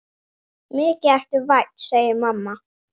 Mikið ertu vænn, segir mamma.